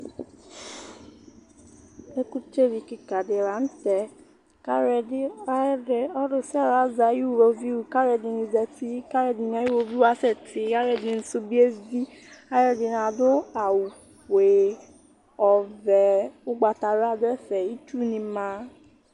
ɛkʊtɛ lɩ kɩka dɩ la nʊ tɛ alʊsialʊ azɛ ayʊ ɩwoviʊ ɔlɔdɩnɩ adʊ awʊ ɔfoe nʊ ɔvɛ ʊgbata wla dʊ ɛfɛ kʊ ɩtsʊ nɩ ma